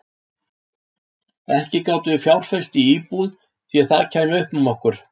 Ekki gátum við fjárfest í íbúð því það kæmi upp um okkur.